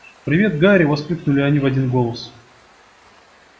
привет гарри воскликнули они в один голос